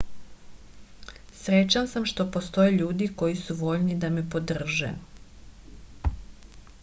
srećan sam što postoje ljudi koji su voljni da me podrže